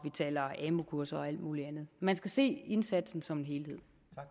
taler amu kurser og alt muligt andet man skal se indsatsen som en helhed